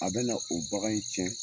A bɛna, o bagan in cɛn